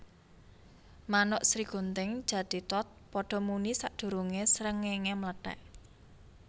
Manuk Srigunting Jathithot padha muni sadurungé srengéngé mlethèk